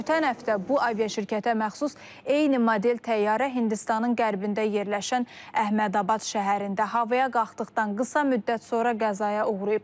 Ötən həftə bu aviaşirkətə məxsus eyni model təyyarə Hindistanın qərbində yerləşən Əhmədabad şəhərində havaya qalxdıqdan qısa müddət sonra qəzaya uğrayıb.